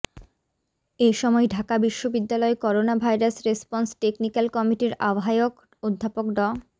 এ সময় ঢাকা বিশ্ববিদ্যালয় corona virus response technical কমিটির আহ্বায়ক অধ্যাপক ড